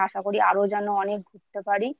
আশা করি আরও যেন অনেক ঘুরতে পারি।